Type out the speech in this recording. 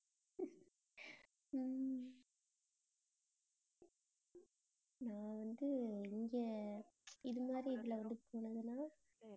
உம் நான் வந்து இங்க இது மாதிரி இதுல வந்து போனதுன்னா